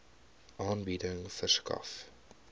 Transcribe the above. aanbieding verskaf